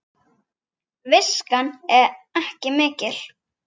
Viskan ekki mikil!